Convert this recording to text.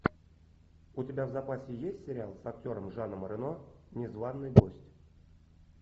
у тебя в запасе есть сериал с актером жаном рено незваный гость